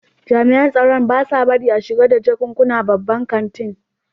jami'an tsaro ba sa barin a shiga da jakunkuna babban kantin.